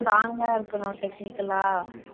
strong ஆ இருக்குறோம் technical ஆ